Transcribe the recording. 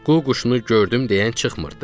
Qu quşunu gördüm deyən çıxmırdı.